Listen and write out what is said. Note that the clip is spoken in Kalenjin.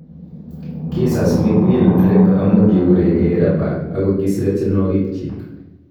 Kii sas Mikmill Drek amu kiguregei rapa ago kisire tyenwogik chiik